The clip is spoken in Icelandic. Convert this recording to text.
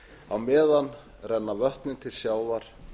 á meðan renna vötnin til sjávar